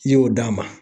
I y'o d'a ma